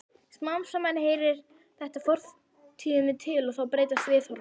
Smám saman heyrir þetta fortíðinni til og þá breytast viðhorfin.